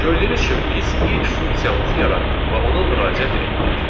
Gördüyünüz kimi biz ilk funksiyamızı yaratdıq və ona müraciət etdik.